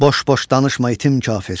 Boş-boş danışma, itim kafir.